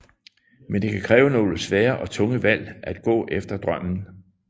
Men det kan kræve nogle svære og tunge valg at gå efter drømmen